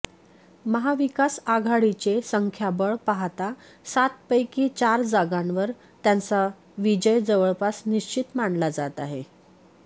महाविकासआघाडीचे संख्याबळ पाहता सातपैकी चार जागांवर त्यांचा विजय जवळपास निश्चित मानला जात आहे